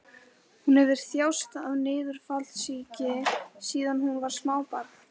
Hún hefur þjáðst af niðurfallssýki síðan hún var smábarn.